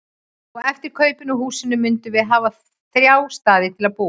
Og eftir kaupin á húsinu mundum við hafa þrjá staði til að búa á.